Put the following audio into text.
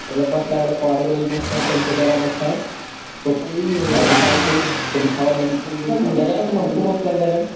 मतलब मस्त लगला केवाड़ी वाड़ी मस्त है पेंट वगैरह मस्त है अथी टाइस वाइस सभी बिछावल है नजारा तो हमको मस्त लग रहा है एकदम।